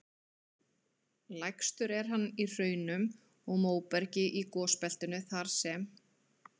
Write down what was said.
Lægstur er hann í hraunum og móbergi í gosbeltinu þar sem